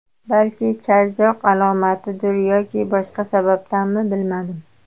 Balki charchoq alomatidir yoki boshqa sababdanmi, bilmadim.